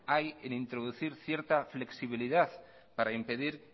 hay en introducir cierta flexibilidad para impedir